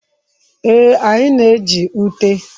Ee, anyị na-eji ute.